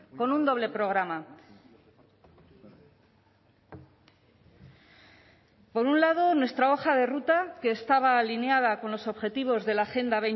con un doble programa por un lado nuestra hoja de ruta que estaba alineada con los objetivos de la agenda